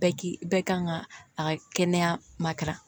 Bɛɛ ki bɛɛ kan ka a ka kɛnɛya ma